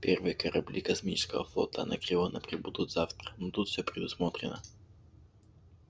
первые корабли космического флота анакреона прибудут завтра но тут все предусмотрено